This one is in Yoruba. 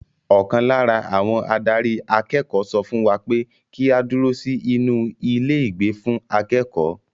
Ọkàn lára àwọn adarí akẹ́kọ̀ọ́ sọ fún wa pé kí á dúró sí inú ilé ìgbé fún akẹ́kọ̀ọ́.